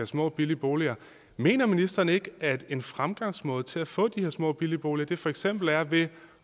små billige boliger mener ministeren ikke at en fremgangsmåde til at få de her små billige boliger for eksempel er ved